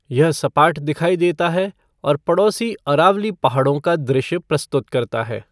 यह सपाट दिखाई देता है और पड़ोसी अरावली पहाड़ों का दृश्य प्रस्तुत करता है।